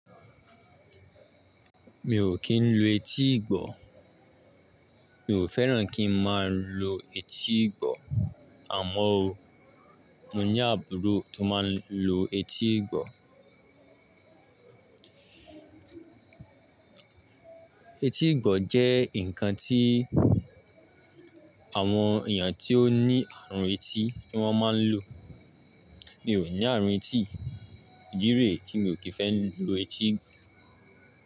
Mi ò kí ń lo etí ìgbọ́. Mi ò fẹ́ràn kí n máa lo etí ìgbọ́. Àmọ́ o, mo ní àbúrò tó máa ń lo etí ìgbọ́. Etí ìgbọ́ jẹ́ ǹkan tí àwọn èèyàn tí ó ní àrùn etí ni wọ́n máa ń lò. Mi ò ní àrùn etí, ìdí rẹ̀ tí mi ò kí fẹ́ lo etí ìgbọ́.